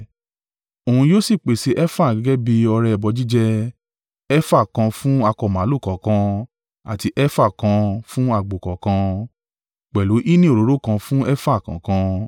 Òun yóò sì pèsè efa gẹ́gẹ́ bí ọrẹ ẹbọ jíjẹ. Efa kan fún akọ màlúù kọ̀ọ̀kan àti efa kan fún àgbò kọ̀ọ̀kan, pẹ̀lú hínì òróró kan fún efa kan.